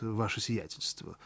ваше сиятельство